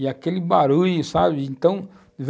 E aquele barulho, sabe? então,